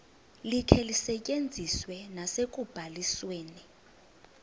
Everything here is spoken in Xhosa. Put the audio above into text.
likhe lisetyenziswe nasekubalisweni